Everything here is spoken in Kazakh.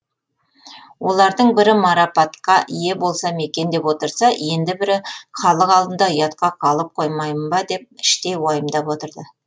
олардың бірі марапатқа ие болсам екен деп отырса енді бірі халық алдында ұятқа қалып қоймайын ба деп іштей уайымдап отырды